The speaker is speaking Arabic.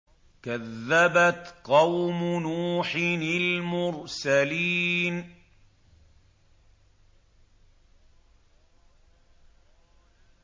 كَذَّبَتْ قَوْمُ نُوحٍ الْمُرْسَلِينَ